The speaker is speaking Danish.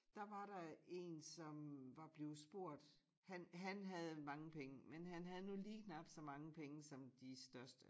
Der var der én som var blevet spurgt han han havde mange penge men han havde nu lige knap så mange penge som de største